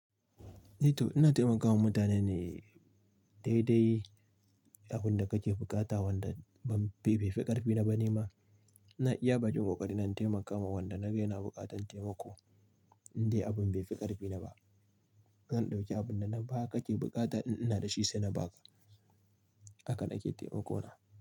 Eh to ina taimakawa mutane ne daidai abin da kake buƙata wanda bai fi ƙarfi na ba ni ma. Na iya bakin ƙoƙari na taimakawa wanda na ga yana buƙatar taimako, indai abin bai fi ƙarfi na ba. Zan ɗauki abin da na ga ka ke buƙata in ina da shi sai na ba ka. Haka na ke taimako na.